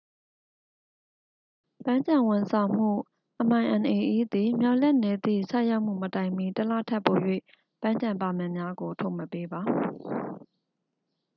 ပန်းခြံဝန်ဆောင်မှု minae သည် မျှော်လင့်နေသည့် ဆိုက်ရောက်မှုမတိုင်မီ တစ်လထက်ပို၍ ပန်းခြံပါမစ်များကို ထုတ်မပေးပါ။